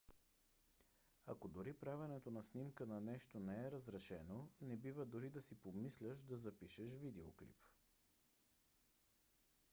ако дори правенето на снимка на нещо не е разрешено не бива дори да си помисляш да запишеш видеоклип